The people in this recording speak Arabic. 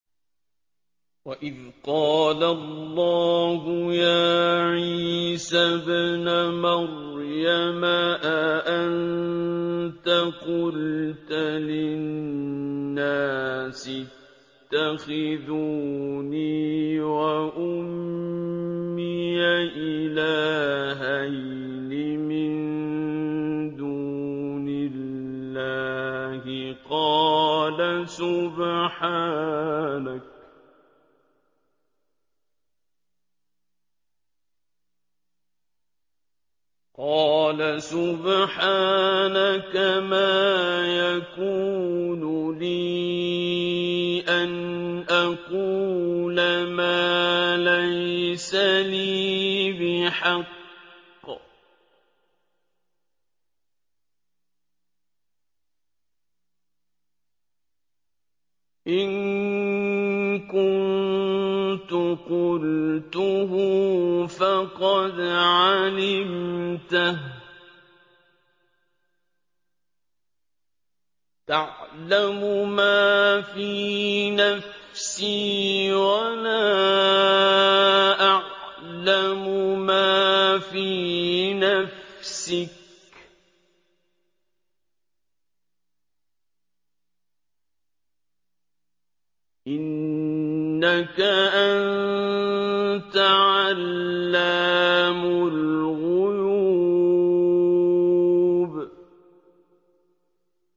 وَإِذْ قَالَ اللَّهُ يَا عِيسَى ابْنَ مَرْيَمَ أَأَنتَ قُلْتَ لِلنَّاسِ اتَّخِذُونِي وَأُمِّيَ إِلَٰهَيْنِ مِن دُونِ اللَّهِ ۖ قَالَ سُبْحَانَكَ مَا يَكُونُ لِي أَنْ أَقُولَ مَا لَيْسَ لِي بِحَقٍّ ۚ إِن كُنتُ قُلْتُهُ فَقَدْ عَلِمْتَهُ ۚ تَعْلَمُ مَا فِي نَفْسِي وَلَا أَعْلَمُ مَا فِي نَفْسِكَ ۚ إِنَّكَ أَنتَ عَلَّامُ الْغُيُوبِ